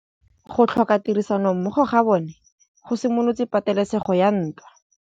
Go tlhoka tirsanommogo ga bone go simolotse patêlêsêgô ya ntwa.